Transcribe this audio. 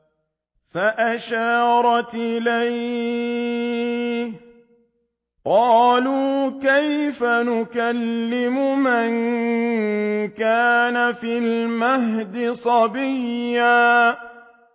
فَأَشَارَتْ إِلَيْهِ ۖ قَالُوا كَيْفَ نُكَلِّمُ مَن كَانَ فِي الْمَهْدِ صَبِيًّا